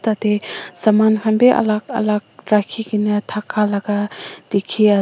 yatte saman khan bhi alag alag rakhi kina thaka laga dekhi ase--